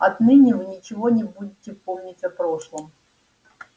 отныне вы ничего не будете помнить о прошлом